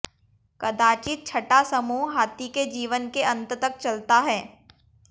कदाचित छठा समूह हाथी के जीवन के अन्त तक चलता है